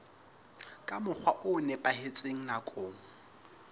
ka mokgwa o nepahetseng nakong